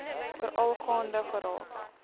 veral gaande geraak